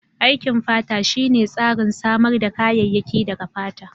Aikin fata shine tsarin samar da kayayyaki daga fata.